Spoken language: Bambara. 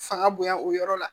Fanga bonya o yɔrɔ la